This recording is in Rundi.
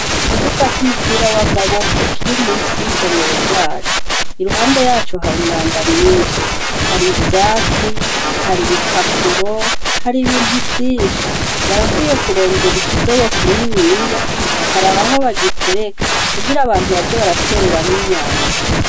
Ikibuga c'umupira w'amaboko kiri munsi y'isomero ryacu iruhande yaco hari umwanda mwishi har'ivyatsi har'ibipapuro har'ibintu vyinshi barakwiye kurondera ikidobo kininiya bakaraba aho bagitereka kugira abantu baje baratereramwo imyanda.